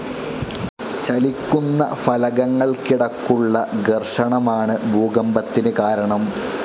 ചലിക്കുന്ന ഫലകങ്ങൾക്കിടക്കുള്ള ഘർഷണമാണ്‌ ഭൂകമ്പത്തിന്‌ കാരണം.